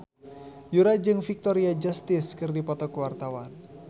Yura jeung Victoria Justice keur dipoto ku wartawan